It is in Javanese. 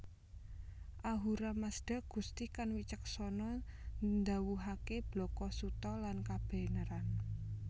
Ahura Mazda Gusti kang wicaksana ndhawuhaké blaka suta lan kabeneran